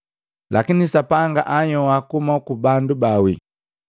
Lakini Sapanga anhyoa kuhuma kubandu baawi.